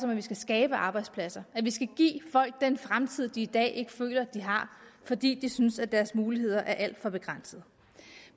at vi skal skabe arbejdspladser at vi skal give folk den fremtid de i dag ikke føler de har fordi de synes at deres muligheder er alt for begrænsede